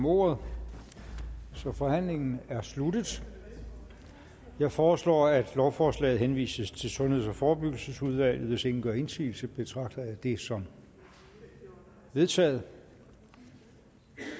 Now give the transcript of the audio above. ordet så forhandlingen er sluttet jeg foreslår at lovforslaget henvises til sundheds og forebyggelsesudvalget hvis ingen gør indsigelse betragter jeg det som vedtaget